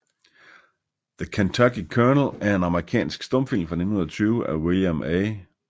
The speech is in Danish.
The Kentucky Colonel er en amerikansk stumfilm fra 1920 af William A